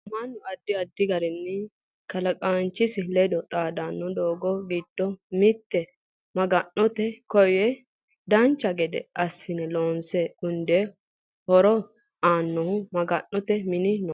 Mannu addi addi garinni kalaqanchisi ledo xaadanno doogo giddo mittu maga'note koyeno dancha gede assine loonse gundeenna horo aannohu maga'note mini no